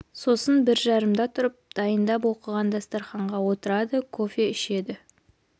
сосын бір жарымда тұрып дайындап оқйған дастарқанға отырады кофе ішеді